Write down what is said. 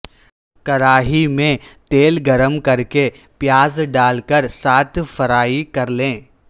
کراہی میں تیل گرم کر کے پیاز ڈال کر ساتے فرائی کرلیں